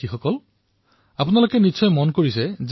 মোৰ মৰমৰ দেশবাসীসকল আপোনালোকে এটা কথা নিশ্চয় প্ৰত্যক্ষ কৰিছে